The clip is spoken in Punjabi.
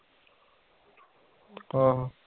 ਆਹੋ